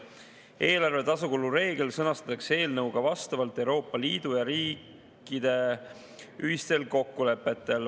Eelarve tasakaalu reegel sõnastatakse eelnõus vastavalt Euroopa Liidu ja riikide ühistele kokkulepetele.